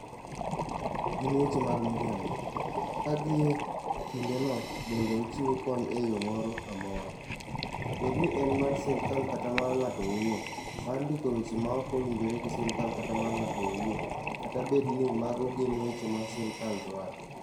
Gin weche mag miriambo, ka gie kindeno bende ochiwo kony e yo moro amora, bed ni en mar sirkal kata mar ng'ato owuon, mar ndiko weche maok owinjore gi sirkal kata mar ng'ato owuon, kata bed ni mago gin weche ma sirkal dwaro.